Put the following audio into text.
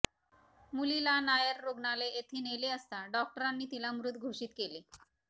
मुलीला नायर रुग्णालय येथे नेले असता डॉक्टरांनी तिला मृत घोषित केले